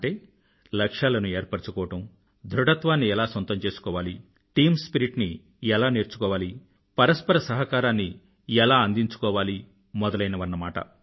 అంటే లక్ష్యాలను ఏర్పరుచుకోవడం ధృఢత్వాన్ని ఎలా సొంతం చేసుకోవాలి టీమ్ స్పిరిట్ ని ఎలా నేర్చుకోవాలి పరస్పర సహకారాన్ని ఎలా అందించుకోవాలి మొదలైనవన్నమాట